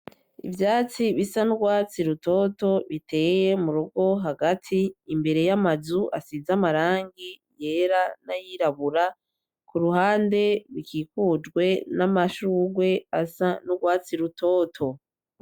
Ivyatsi bisa n'urwatsi rutoto biteye hagati yamazu asize amarangi yera nayirabura, kuruhande ikikujwe namashurwe asa nurwatsi rutoto.